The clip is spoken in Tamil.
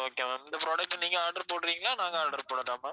okay ma'am இந்த product அ நீங்க order போடுறீங்களா நாங்க order போடட்டா ma'am